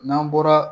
N'an bɔra